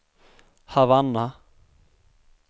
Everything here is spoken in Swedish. Havanna